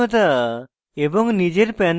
pan card প্রয়োজনীয়তা এবং